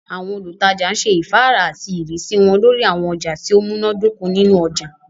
Àwọn olùtajà ṣe ifàárà àti ìrísí wọn lórí àwọn ọjà tí ó múná dóko nínu ọjà